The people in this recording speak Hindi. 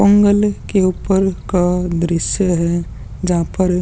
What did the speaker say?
पोंगल के ऊपर का दृश्य है जहाँ पर --